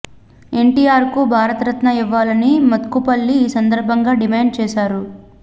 ఎన్టీఆర్కు భారత రత్న ఇవ్వాలని మోత్కుపల్లి ఈ సందర్భంగా డిమాండ్ చేశారు